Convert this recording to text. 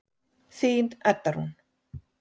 Þín Edda Rún.